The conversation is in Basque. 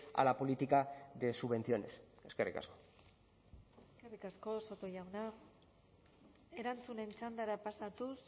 a la política de subvenciones eskerrik asko eskerrik asko soto jauna erantzunen txandara pasatuz